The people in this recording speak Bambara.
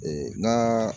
Ee n'a